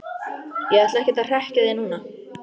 Ég ætla ekkert að hrekkja þig núna,